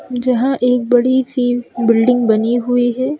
जहां एक बड़ी सी बिल्डिंग बनी हुई है।